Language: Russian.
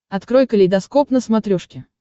открой калейдоскоп на смотрешке